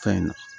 Fɛn na